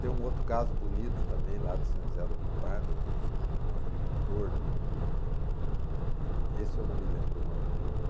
Tem um outro caso bonito também, lá de São José do Rio Pardo, um um um agricultor de... Esse eu não me lembro o nome dele, não.